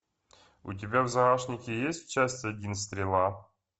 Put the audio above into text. у тебя в загашнике есть часть один стрела